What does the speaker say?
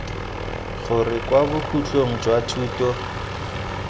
gore kwa bokhutlong jwa thuto